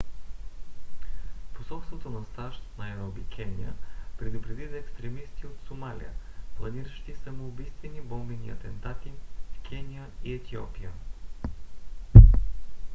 посолството на сащ в найроби кения предупреди за екстремисти от сомалия планиращи самоубийствени бомбени атентати в кения и етиопия